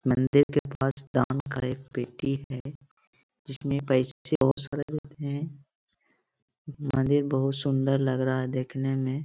मंदिर के पास दान का एक पेटी है जिसमें पैसे बहुत सारे होते हैं मंदिर बहुत सुंदर लग रहा है देखने में --